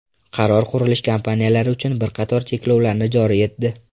Qaror qurilish kompaniyalari uchun bir qator cheklovlarni joriy etdi.